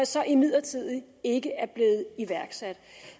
så imidlertid ikke er blevet iværksat